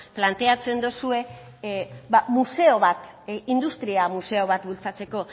planteatzen dozue museo bat industria museo bat bultzatzeko